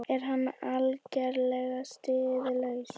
Er hann algerlega siðlaus?